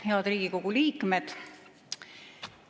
Head Riigikogu liikmed!